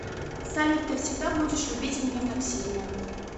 салют ты всегда будешь любить меня так сильно